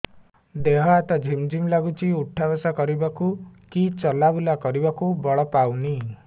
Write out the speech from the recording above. ଦେହେ ହାତ ଝିମ୍ ଝିମ୍ ଲାଗୁଚି ଉଠା ବସା କରିବାକୁ କି ଚଲା ବୁଲା କରିବାକୁ ବଳ ପାଉନି